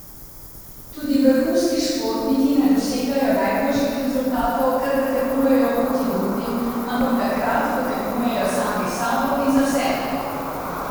Tudi vrhunski športniki ne dosegajo najboljših rezultatov, kadar tekmujejo proti drugim, ampak takrat, ko tekmujejo sami s sabo in za sebe.